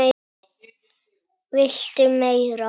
VILTU MEIRA?